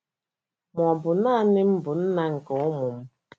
Ma, ọ bụ nanị m bụ nna nke ụmụ m.